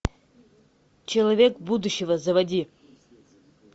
человек будущего заводи